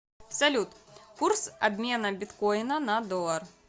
салют курс обмена биткоина на доллар